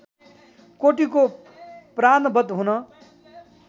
cortico प्राणवध हुन